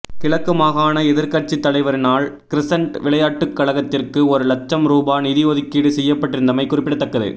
கிழக்கு மாகாண எதிர்க்கட்சித் தலைவரினால் கிரசன்ட் விளையாட்டுக் கழகத்திற்கு ஒரு இலட்சம் ரூபா நிதி ஒதுக்கீடு செய்யப்பட்டிருந்தமை குறிப்பிடத்தக்கது